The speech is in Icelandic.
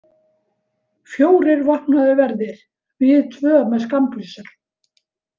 Fjórir vopnaðir verðir, við tvö með skammbyssur.